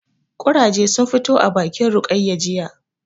Ƙurage sun fito a bakin Rukayya jiya